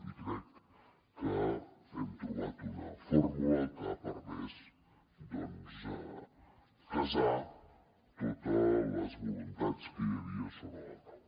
i crec que hem trobat una fórmula que ha permès casar totes les voluntats que hi havia sobre la taula